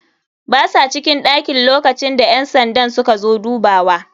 Basa cikin ɗakin lokacinda ƴansandan suka zo dubawa.